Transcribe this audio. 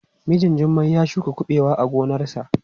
Mijin Jummai ya shuka kuɓewa a gonarsa.